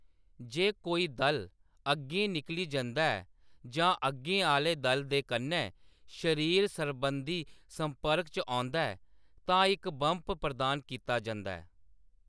जे कोई दल अग्गें निकली जंदा ऐ जां अग्गें आह्‌‌‌ले दल दे कन्नै शरीर सरबंधी संपर्क च औंदा ऐ, तां इक बम्प प्रदान कीता जंदा ऐ।